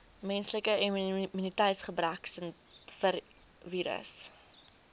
menslike immuniteitsgebrekvirus